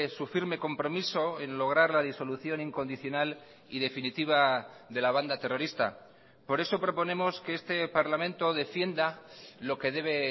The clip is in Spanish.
su firme compromiso en lograr la disolución incondicional y definitiva de la banda terrorista por eso proponemos que este parlamento defienda lo que debe